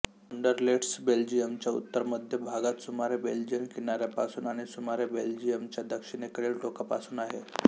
Anderlecht बेल्जियमच्या उत्तरमध्य भागात सुमारे बेल्जियन किनाऱ्यापासून आणि सुमारे बेल्जियमच्या दक्षिणेकडील टोकापासून आहे